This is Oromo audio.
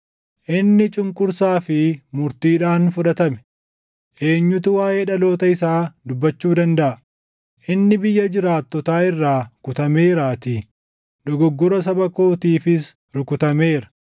Inni cunqursaa fi murtiidhaan fudhatame. Eenyutu waaʼee dhaloota isaa dubbachuu dandaʼa? Inni biyya jiraattotaa irraa kutameeraatii; dogoggora saba kootiifis rukutameera.